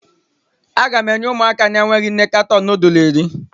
Aga m enye ụmụaka enweghị nne katọn nudul iri.